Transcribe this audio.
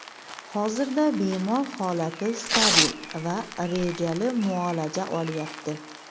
Hozirda bemor holati stabil va rejali muolaja olyapti.